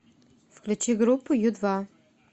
включи группу ю два